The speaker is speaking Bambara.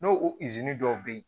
N'o o dɔw bɛ yen